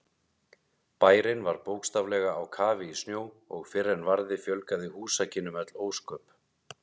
Bærinn var bókstaflega á kafi í snjó og fyrr en varði fjölgaði húsakynnum öll ósköp.